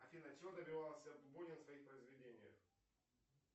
афина чего добивался бунин в своих произведениях